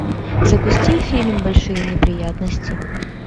запусти фильм большие неприятности